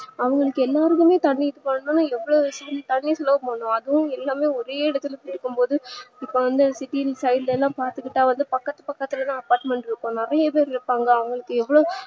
அவங்களுக்கு எல்லார் மேலயும் அதும் எல்லாமே ஒரே இடத்துல சேக்கும் போது இப்பவந்து city side லலா பாத்துகிட்டா வந்து பக்கத்துல பக்கத்துலதா apartment இருக்கும் நிறையா பேர் இருப்பாங்க அவங்களுக்கு எவ்ளோ